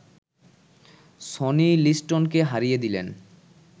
Sony লিস্টনকে হারিয়ে দিলেন